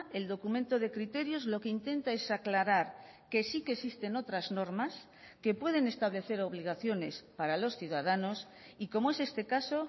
el documento de criterios lo que intenta es aclarar que sí que existen otras normas que pueden establecer obligaciones para los ciudadanos y como es este caso